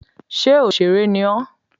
Ṣé òsèrè ni ọ́?